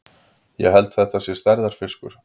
Ég held þetta sé stærðarfiskur!